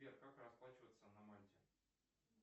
сбер как расплачиваться на мальте